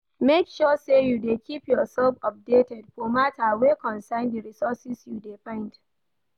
Make sure say you de keep yourself updated for matter wey concern di resources you de find